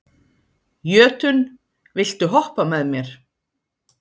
Jötunn, viltu hoppa með mér?